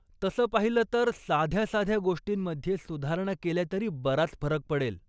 तसं पाहिल, तर साध्या साध्या गोष्टींमध्ये सुधारणा केल्या तरी बराच फरक पडेल.